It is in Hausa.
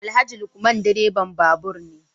Alhaji Lukman direban babur ne